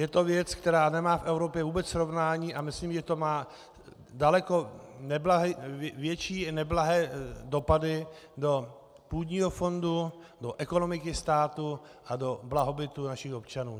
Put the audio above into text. Je to věc, která nemá v Evropě vůbec srovnání, a myslím, že to má daleko větší neblahé dopady do půdního fondu, do ekonomiky státu a do blahobytu našich občanů.